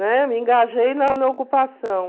Né? Me engajei na na ocupação.